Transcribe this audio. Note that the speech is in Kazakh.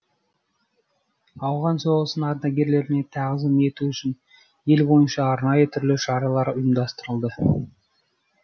ауған соғысының ардагерлеріне тағзым ету үшін ел бойынша арнайы түрлі шаралар ұйымдастырылды